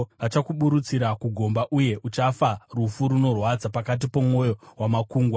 Vachakuburutsira kugomba, uye uchafa rufu runorwadza pakati pomwoyo wamakungwa.